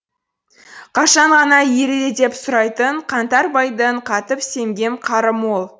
қашан ғана ериді деп сұрайтын қаңтар байдың қатып семген қары мол